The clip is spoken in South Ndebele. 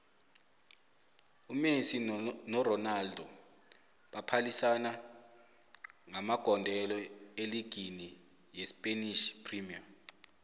umessie noronaldo baphalisana ngamagondelo eligini yespanish premier